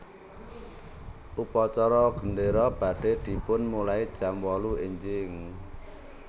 Upacara gendero badhe dipunmulai jam wolu enjing